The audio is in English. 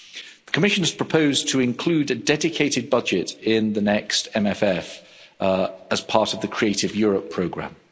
The Commission has proposed to include a dedicated budget in the next MFF as part of the Creative Europe programme.